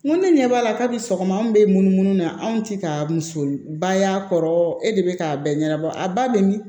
N ko ne ɲɛ b'a la kabi sɔgɔma an be munumunu na anw ti ka muso ba y'a kɔrɔ e de be k'a bɛɛ ɲɛnabɔ a ba bɛ min